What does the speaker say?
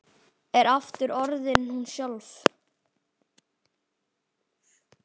Er aftur orðin hún sjálf.